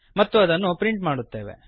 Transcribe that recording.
ಮತ್ತು ಅದನ್ನು ಪ್ರಿಂಟ್ ಮಾಡುತ್ತೇವೆ